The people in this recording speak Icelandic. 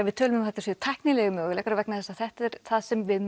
við tölum um að þetta séu tæknilegir möguleikar vegna þess að þetta er það sem við